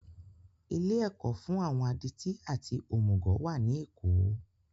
Ilé ẹ̀kọ́ fún àwọn adití àti òmùgọ̀ wà ní èkó